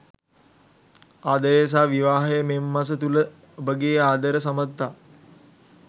ආදරය සහ විවාහය මෙම මස තුළ ඔබගේ ආදර සබඳතා